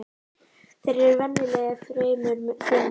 Þeir eru venjulega fremur þunnir